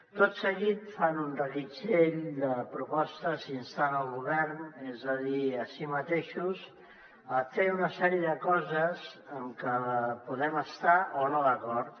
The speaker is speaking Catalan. tot seguit fan un reguitzell de propostes instant el govern és a dir a si mateixos a fer una sèrie de coses en que podem estar o no d’acord